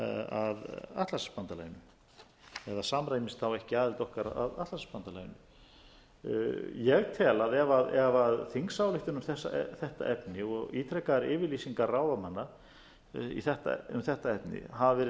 atlantshafsbandalaginu eða samræmist þá ekki aðild okkar að atlantshafsbandalaginu ég tel að ef þingsályktun um þetta efni og ítrekaðar yfirlýsingar ráðamanna um þetta efni hafa verið